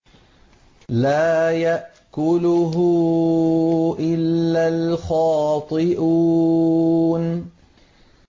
لَّا يَأْكُلُهُ إِلَّا الْخَاطِئُونَ